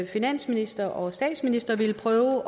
finansministeren og statsministeren ville prøve